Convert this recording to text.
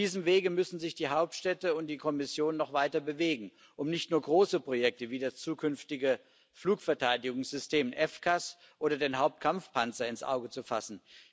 Auf diesem Wege müssen sich die Hauptstädte und die Kommission noch weiter bewegen, um nicht nur große Projekte, wie das zukünftige Flugverteidigungssystem FCAS oder den Hauptkampfpanzer ins Auge zu fassen.